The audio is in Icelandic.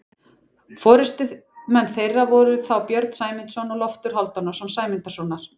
Forystumenn þeirra voru þá Björn Sæmundarson og Loftur Hálfdanarson Sæmundarsonar.